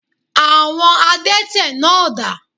Àwon adẹ́tẹ̀ náà dà?